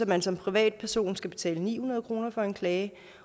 man som privatperson skal betale ni hundrede kroner for en klage